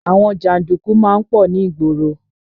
Àwọn janduku má ń pọ̀ ní ìgboro